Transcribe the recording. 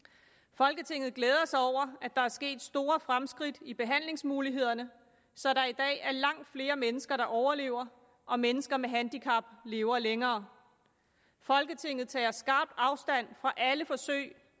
folketinget glæder sig over at der er sket store fremskridt i behandlingsmulighederne så der i dag er langt flere mennesker der overlever og mennesker med handicap lever længere folketinget tager skarpt afstand fra alle forsøg